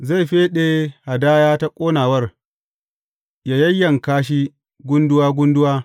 Zai feɗe hadaya ta ƙonawar, yă yayyanka shi gunduwa gunduwa.